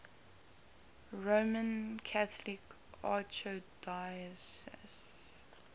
roman catholic archdiocese